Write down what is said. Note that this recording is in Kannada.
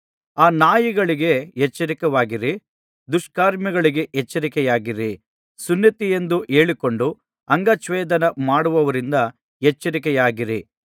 ಆ ನಾಯಿಗಳಿಗೆ ಎಚ್ಚರವಾಗಿರಿ ದುಷ್ಕರ್ಮಿಗಳಿಗೆ ಎಚ್ಚರಿಕೆಯಾಗಿರಿ ಸುನ್ನತಿಯೆಂದು ಹೇಳಿಕೊಂಡು ಅಂಗಚ್ಛೇದನ ಮಾಡುವವರಿಂದ ಎಚ್ಚರಿಕೆಯಾಗಿರಿ